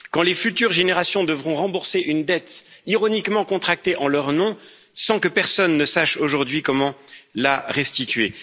quand les futures générations devront rembourser une dette ironiquement contractée en leur nom, sans que personne ne sache aujourd'hui comment la restituer?